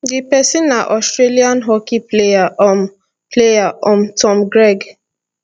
di pesin na australian hockey player um player um tom craig